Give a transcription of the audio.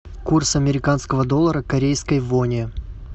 курс американского доллара к корейской воне